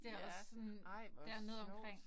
Ja ej hvor sjovt!